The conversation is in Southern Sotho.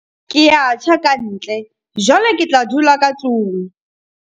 ke a tjha ka ntle, jwale ke tla dula ka tlong